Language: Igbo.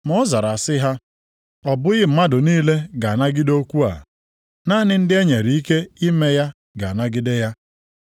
Ma ọ zara sị ha, “Ọ bụghị mmadụ niile ga-anagide okwu a. Naanị ndị e nyere ike ime ya ga-anagide ya.